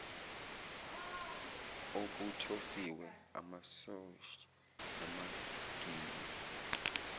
okuthosiwe amasoseji namagwinya